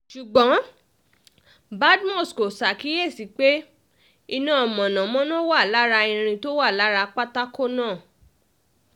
ṣùgbọ́n badmus kò ṣàkíyèsí pé iná mọ̀nàmọ́ná wà lára irin tó wà lára pátákó náà